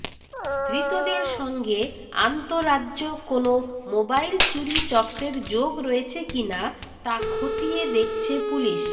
ধৃতদের সঙ্গে আন্তঃরাজ্য কোনও মোবাইল চুরি চক্রের যোগ রয়েছে কিনা তা খতিয়ে দেখছে পুলিশ